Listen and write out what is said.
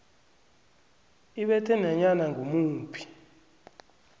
ibethe nanyana ngimuphi